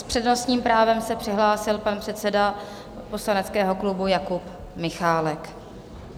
S přednostním právem se přihlásil pan předseda poslaneckého klubu Jakub Michálek.